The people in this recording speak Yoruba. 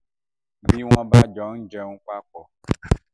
bí wọ́n bá jọ ń jẹun papọ̀